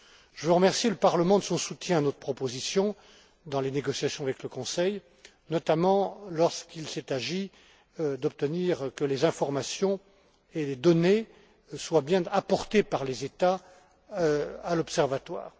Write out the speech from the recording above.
Je veux remercier le Parlement de son soutien à notre proposition dans les négociations avec le Conseil, notamment lorsqu'il s'est agi d'obtenir que les informations et les données soient bien fournies par les États à l'Observatoire.